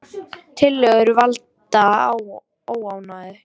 Tillögur valda óánægju